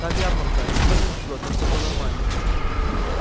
там ярмарка никто не живёт так чтобы по-нормальному